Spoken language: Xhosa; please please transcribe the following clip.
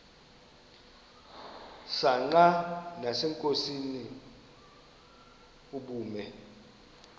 msanqa nasenkosini ubume